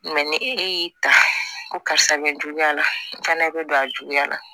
ni e y'i ta ko karisa bɛ n juguya la n fana bɛ don a juguya la